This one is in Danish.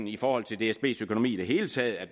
i forhold til dsbs økonomi i det hele taget at